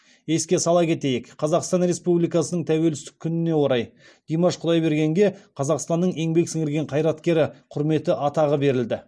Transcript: еске сала кетейік қазақстан республикасының тәуелсіздік күніне орай димаш құдайбергенге қазақстанның еңбек сіңірген қайраткері құрметті атағы берілді